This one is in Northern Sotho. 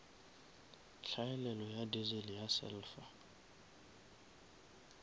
hlaelelo ya diesel ya sulphur